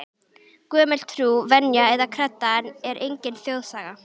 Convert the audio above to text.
Gömul trú, venja eða kredda er engin þjóðsaga.